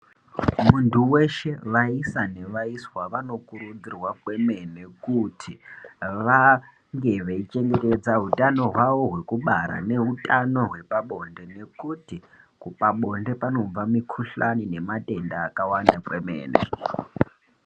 Muntu weshe vaisa nevaiswa vanokurudzirwa kwemene kuti vange veitsomeredza hutano hwao hwekubara neutano hwepabonde nekuti pabonde panobve mikuhlani nematenda akawanda kwemene.